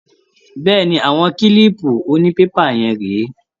Bẹ́ẹ̀ni. Àwọn kílìpù onípépà yẹn rèé.